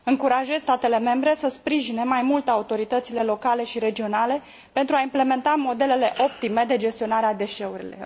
Încurajez statele membre să sprijine mai mult autoritățile locale și regionale pentru a implementa modelele optime de gestionare a deșeurilor.